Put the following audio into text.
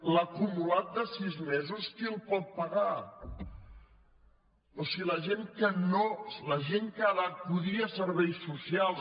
l’acumulat de sis mesos qui el pot pagar però si la gent que ha d’acudir a serveis socials